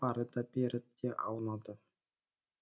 ары да бері де аунады